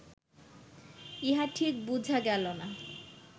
ইহা ঠিক বুঝা গেল না